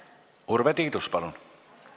Urve Tiidus, palun!